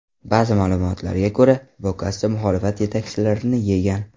Ba’zi ma’lumotlarga ko‘ra, Bokassa muxolifat yetakchilarini yegan.